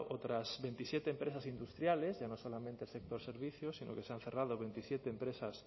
otras veintisiete empresas industriales ya no solamente sector servicios sino que se han cerrado veintisiete empresas